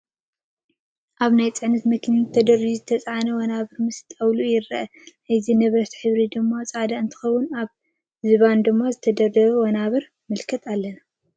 ኣብ ናይ ፅዕነት መኪና ተደርዲሩ ዝተፃዕነ ወናብር ምስ ጣውልኡ ይርአ፡፡ ናይቲ ንብረት ሕብሪ ድማ ፃዕዳ እንትኸውን ኣብ ዝባን ድማ ዝተደርደሩ ወናብር ንምልከት አለና::